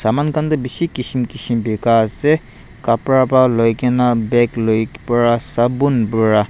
saman khan toh bishi kism kism beka ase kapra pa loi ke na bag loi para sabun para--